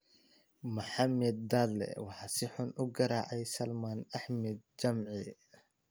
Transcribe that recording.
Maxamed Dadle waxaa si xun u garaacay Salman Axmed Jimcihii